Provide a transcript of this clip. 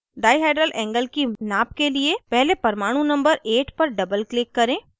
dihedral angle की नाप के लिए पहले परमाणु number 8 पर doubleclick करें